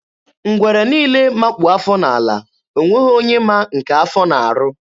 Ngwere niile makpu afọ n'ala, ọ nweghị onye ma nke afọ na-arụ.